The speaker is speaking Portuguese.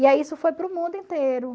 E aí isso foi para o mundo inteiro.